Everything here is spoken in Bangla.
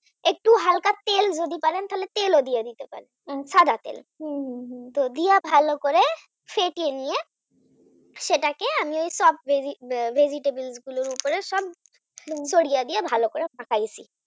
একটু তেল ও দিয়ে দিতে পারেন সাদা তেল হম হম হম দিয়া ভালো করে ফাটিয়ে নিয়ে সেটাকে আমি সব Vegitable vegetable গুলোর উপরে সব নুন ছাড়িয়ে দিয়ে ভালো করে ফাটাইছি